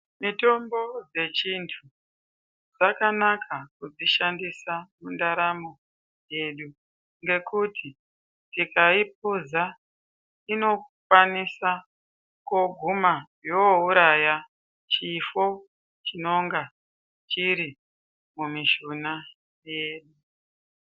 Mitombo dzechindau dzakanaka kudzishandisa mundaramo yedu ngekuti tikaipuza inokwanisa kooguma yoouraya chifo chinonga chiri mumishuna yedu.